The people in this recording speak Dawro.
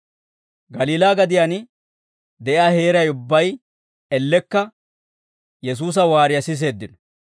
Galiilaa gadiyaan de'iyaa heeray ubbay ellekka Yesuusa waariyaa siiseeddino.